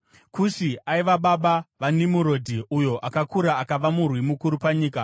Kushi aiva baba vaNimurodhi; uyo akakura akava murwi mukuru panyika.